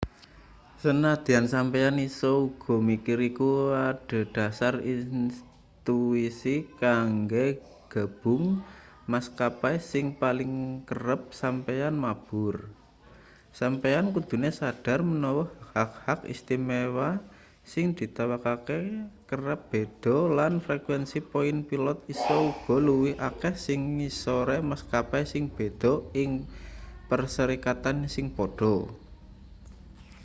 sanajan sampeyan isa uga mikir iku adhedhasar intuisi kanggo gabung maskapai sing paling kerep sampeyan mabur sampeyan kudune sadar menawa hak-hak istimewa sing ditawakake kerep beda lan frekuensi poin pilot isa uga luwih akeh ing sangisore maskapai sing beda ing perserikatan sing pada